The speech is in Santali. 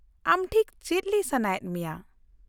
-ᱟᱢ ᱴᱷᱤᱠ ᱪᱮᱫ ᱞᱟᱹᱭ ᱥᱟᱱᱟᱭᱮᱫ ᱢᱮᱭᱟ ?